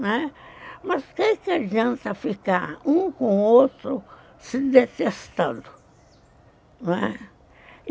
Mas o quê que adianta ficar um com o outro se detestando, não é?